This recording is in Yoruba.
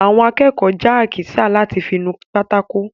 Àwọn akẹ́kọ̀ọ́ jẹ àkísà láti fí nu pátákó.